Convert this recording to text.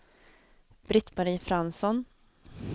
Britt-Marie Fransson